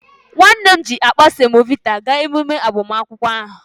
Nwanne m nwoke ji akpa semovita gaa emume agbamakwụkwọ ahụ